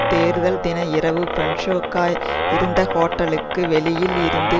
தேர்தல் தின இரவு பொன்சேகா இருந்த ஹோட்டலுக்கு வெளியில் இருந்து